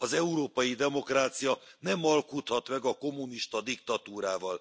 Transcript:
Az európai demokrácia nem alkudhat meg a kommunista diktatúrával.